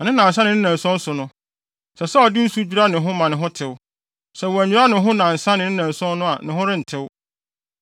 Na ne nnansa ne ne nnanson so no, ɛsɛ sɛ ɔde nsu dwira ne ho ma ne ho tew. Sɛ wannwira ne ho nnansa ne nnanson so a ne ho rentew.